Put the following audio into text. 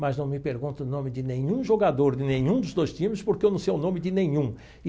Mas não me pergunte o nome de nenhum jogador de nenhum dos dois times porque eu não sei o nome de nenhum.